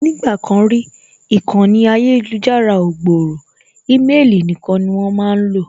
Nígbà kan rí, ìkànnì ayélujára ò gbòòrò ímelì nīkan ni wón máá lò